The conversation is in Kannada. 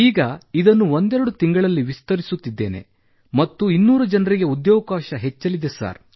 ಈಗ ಇದನ್ನು ಒಂದೆರಡು ತಿಂಗಳಲ್ಲಿ ವಿಸ್ತರಿಸುತ್ತಿದ್ದೇನೆ ಮತ್ತು 200 ಜನರಿಗೆ ಉದ್ಯೋಗಾವಕಾಶ ಹೆಚ್ಚಲಿದೆ ಸರ್